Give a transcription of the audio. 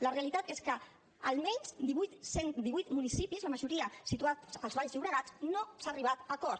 la realitat és que a almenys divuit municipis la majoria situats al baix llobregat no s’ha arribat a acord